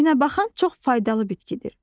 Günəbaxan çox faydalı bitkidir.